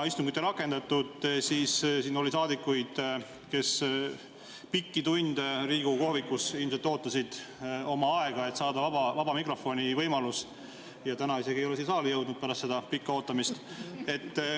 Istungit ei rakendatud, kuid siin oli saadikuid, kes pikki tunde Riigikogu kohvikus ilmselt ootasid oma aega, et saada vaba mikrofoni võimalus, ja täna nad ei ole isegi siia saali jõudnud pärast seda pikka ootamist.